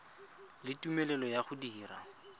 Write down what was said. le tumelelo ya go dira